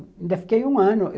Ainda fiquei um ano.